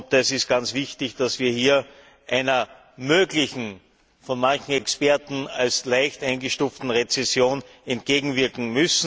Es ist ganz wichtig, dass wir hier einer möglichen, von manchen Experten als leicht eingestuften Rezession entgegenwirken.